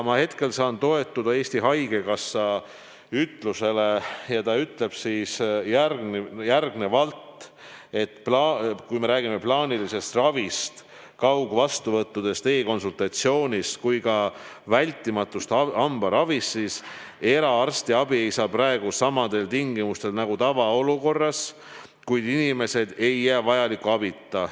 Hetkel saan aga toetuda Eesti Haigekassa ütlusele, mis kõlab järgnevalt: "Kui me räägime nii plaanilisest ravist, kaugvastuvõttudest, e-konsultatsioonist kui ka vältimatust hambaravist, siis eraarstiabi ei saa praegu samadel tingimustel nagu tavaolukorras, kuid inimesed ei jää vajaliku abita.